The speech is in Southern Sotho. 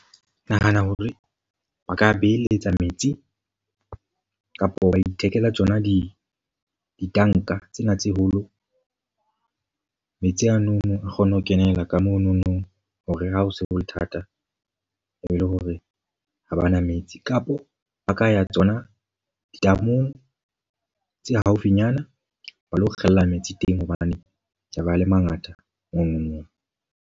Ke nahana hore ba ka beheletsa metsi. Kapo wa ithekela tsona di ditanka tsena tse holo. Metsi ano a kgone ho kenela ka monono hore ha ho se ho le thata e le hore ha bana metsi. Kapo ba ka ya tsona ditamong tse haufinyana ba lo kgella metsi teng. Hobane tse ba le mangata .